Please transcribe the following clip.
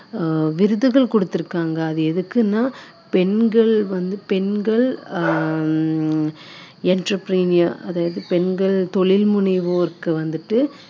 அப்படிங்குற ஒரு association வந்துட்டு இப்போ அண்மையில பாத்தீங்கன்னா ஆஹ் விருதுகள் கொடுத்திருக்காங்க அது எதுக்குன்னா பெண்கள் வந்து பெண்கள் ஆஹ் ஹம்